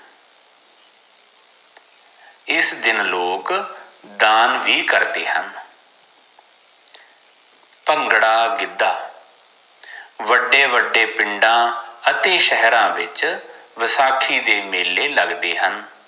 ਇਸ ਦਿਨ ਲੋਗ ਦਾਨ ਵੀ ਕਰਦੇ ਹਨ ਭੰਗੜਾ ਗਿੱਦਾ ਵਡੇ ਵਡੇ ਪਿੰਡ ਅਤੇ ਸ਼ਹਿਰਾਂ ਵਿਚ ਵਸਾਖੀ ਦੇ ਮੇਲੇ ਲਗਦੇ ਹਨ